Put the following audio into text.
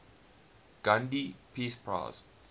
gandhi peace prize